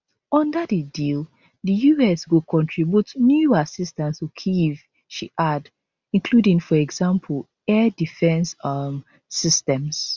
under di deal di us go contribute new assistance to kyiv she add including for example air defence um systems